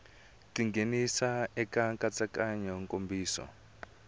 ti nghenisa eka nkatsakanyo nkomiso